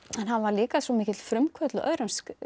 en hann var líka svo mikill frumkvöðull á öðrum